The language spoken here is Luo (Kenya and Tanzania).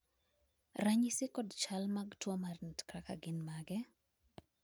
ranyisi kod chal mag tuo mar renak nutcracker gin mage?